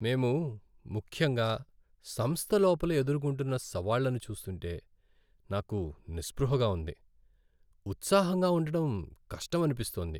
మేము ముఖ్యంగా సంస్థ లోపల ఎదుర్కొంటున్నసవాళ్ళను చూస్తుంటే నాకు నిస్పృహగా ఉంది, ఉత్సాహంగా ఉండడం కష్టమనిపిస్తోంది.